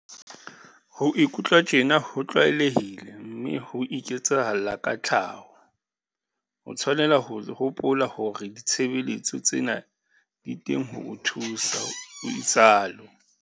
Ho ikutlwa tjena ho tlwaelehile mme ho iketsahalla ka tlhaho. O tshwanela ho hopola hore ditshebeletso tsena di teng ho o thusa, o itsalo.